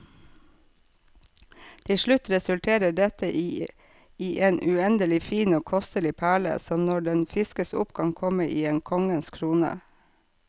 Til slutt resulterer dette i en uendelig fin og kostelig perle, som når den fiskes opp kan komme i en konges krone.